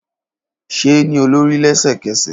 Ṣe e ni olori lẹsẹkẹsẹ!